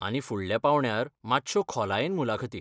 आनी फुडल्या पांवड्यार मात्श्यो खोलायेन मुलाखती.